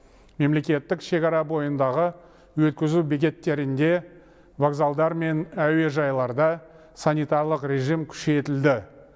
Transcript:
мемлекеттік шекара бойындағы өткізу бекеттерінде вокзалдар мен әуежайларда санитарлық режим күшейтілді